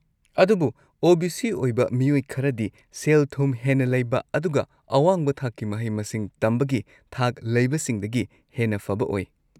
ꯑꯗꯨꯕꯨ ꯑꯣ.ꯕꯤ.ꯁꯤ. ꯑꯣꯏꯕ ꯃꯤꯑꯣꯏ ꯈꯔꯗꯤ ꯁꯦꯜ-ꯊꯨꯝ ꯍꯦꯟꯅ ꯂꯩꯕ ꯑꯗꯨꯒ ꯑꯋꯥꯡꯕ ꯊꯥꯛꯀꯤ ꯃꯍꯩ-ꯃꯁꯤꯡ ꯇꯝꯕꯒꯤ ꯊꯥꯛ ꯂꯩꯕꯁꯤꯡꯗꯒꯤ ꯍꯦꯟꯅ ꯐꯕ ꯑꯣꯏ꯫